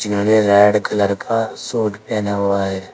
यानी red colour का suit पहना हुआ है।